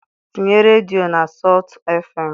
Tinye redio na sọltụ fm